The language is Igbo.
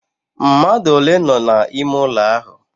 Mmadu ole no n'ime ulo ahu?